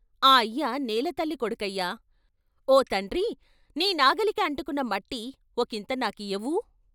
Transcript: ఆ అయ్య నేలతల్లి కొడుకయ్యా ఓ తండ్రీ నీ నాగలికి అంటుకున్న మట్టి ఒకింత నాకియ్యవూ?